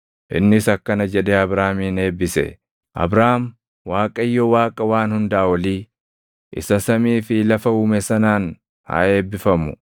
innis akkana jedhee Abraamin eebbise; “Abraam, Waaqayyo Waaqa Waan Hundaa Olii, isa samii fi lafa uume sanaan haa eebbifamu.